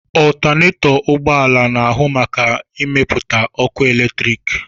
Ọltanetọ ụgbọala na-ahụ maka ịmepụta ọkụ eletriki.